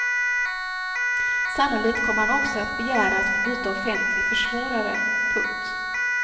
Sannolikt kommer han också att begära att få byta offentlig försvarare. punkt